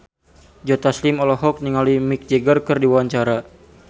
Joe Taslim olohok ningali Mick Jagger keur diwawancara